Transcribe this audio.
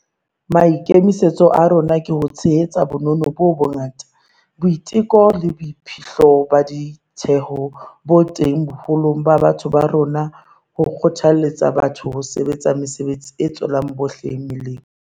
Maikemisetso a rona ke ho tshehetsa bonono bo bongata, boiteko le boiphihlo ba ditheho bo teng boholong ba batho ba rona ho kgothaletsa batho ho sebetsa mesebetsi e tswelang bohle melemo.